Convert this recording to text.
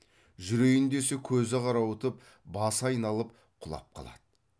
жүрейін десе көзі қарауытып басы айналып құлап қалады